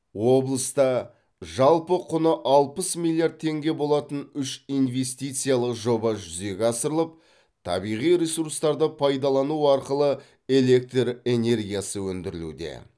облыста жалпы құны алпыс миллиард теңге болатын үш инвестициялық жоба жүзеге асырылып табиғи ресурстарды пайдалану арқылы электр энергиясы өндірілуде